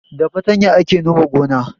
Da fartanya ake nome gona